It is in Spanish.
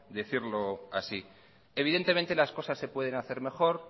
decirlo así evidentemente las cosas se pueden hacer mejor